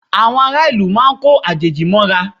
Àwọn ará ìlú máa ko àjèjì mọ́ra